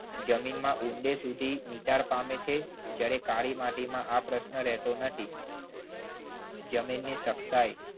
જમીનમાં ઊંડે સુધી નિતાર પામે છે. જ્યારે કાળી માટીમાં આ પ્રશ્ન રહેતો નથી જમીનની સખતાઈ